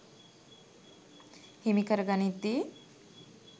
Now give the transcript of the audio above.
හිමි කර ගනිද්දී